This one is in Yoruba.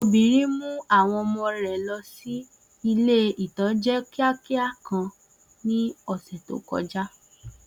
Obìnrin mú àwọn ọmọ rẹ̀ lọ sí ilé-ìtánjẹ́ kíákíá kan ní ọ̀sẹ̀ tó kọjá